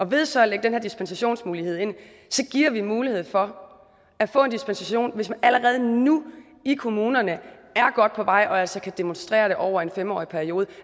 ved så at lægge den her dispensationsmulighed ind giver vi mulighed for at få en dispensation hvis man allerede nu i kommunerne er godt på vej og altså kan demonstrere det over en fem årig periode